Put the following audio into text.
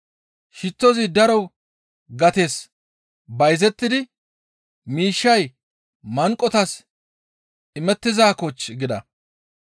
Shittozi daro gates bayzettidi miishshay manqotas imettizaakochchii?» gida.